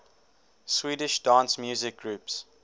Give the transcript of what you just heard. swedish dance music groups